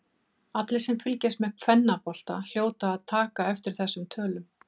Allir sem fylgjast með kvennabolta hljóta að taka eftir þessum tölum.